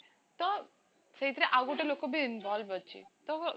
ତ ସେଇଥେର ଆଉ ଗୋଟେ ଲୋକବି involve ଅଛି ତ